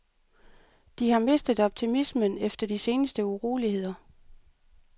De har mistet optimismen efter de seneste uroligheder.